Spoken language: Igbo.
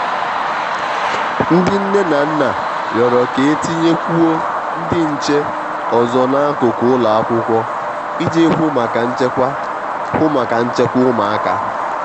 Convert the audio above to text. ndị nne na nna rịọrọ k'etinye kwuo ndị nche ọzọ n'akụkụ ụlọ akwụkwọ i ji hụ maka nchekwa hụ maka nchekwa ụmụaka.